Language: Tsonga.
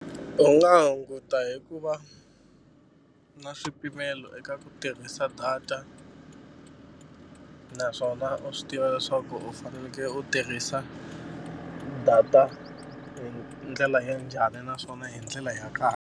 U nga hunguta hi ku va na swipimelo eka ku tirhisa data naswona u swi tiva leswaku u fanekele u tirhisa data hi ndlela ya njhani naswona hi ndlela ya .